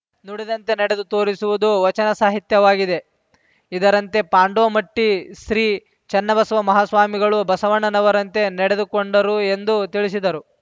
ನುಡಿದಂತೆ ನಡೆದು ತೋರಿಸುವುದು ವಚನ ಸಾಹಿತ್ಯವಾಗಿದೆ ಇದರಂತೆ ಪಾಂಡೋಮಟ್ಟಿಶ್ರೀ ಚನ್ನಬಸವ ಮಹಾಸ್ವಾಮಿಗಳು ಬಸವಣ್ಣನವರಂತೆ ನಡೆದುಕೊಂಡರು ಎಂದು ತಿಳಿಸಿದರು